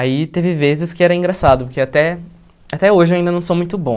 Aí teve vezes que era engraçado, porque até até hoje eu ainda não sou muito bom.